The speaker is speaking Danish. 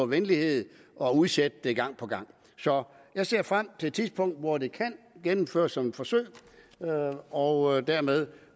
venlighed og udsætte det gang på gang så jeg ser frem det tidspunkt hvor det kan gennemføres som et forsøg og dermed